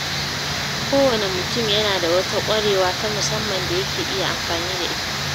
Kowane mutum yana da wata ƙwarewa ta musamman da yake iya amfani da ita.